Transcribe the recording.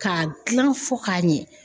K'a gilan fɔ k'a ɲɛ